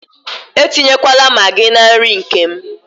Etinyekwala Maagị na nri nke m.